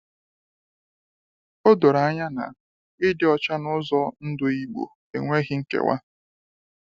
O doro anya na, ịdị ọcha na ụzọ ndụ Igbo enweghị nkewa.